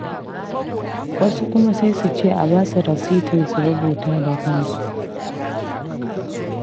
Wasu kuma sai su ce a ba su rasitin su rubuta da kansu.